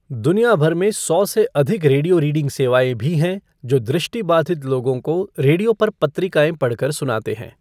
दुनिया भर में सौ से अधिक रेडियो रीडिंग सेवाएँ भी हैं जो दृष्टिबाधित लोगों को रेडियो पर पत्रिकाएँ पढ़कर सुनाते हैं।